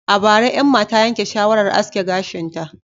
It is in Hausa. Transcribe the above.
A bara, Emma ta yanke shawarar aske gashinta